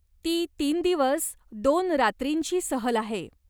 ती तीन दिवस दोन रात्रींची सहल आहे.